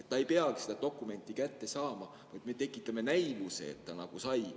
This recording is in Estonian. Ta nagu ei pea seda dokumenti kätte saama, vaid me tekitame näivuse, et ta sai.